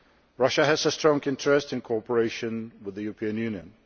Russia has a strong interest in cooperation with the European Union.